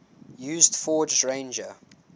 used ford's ranger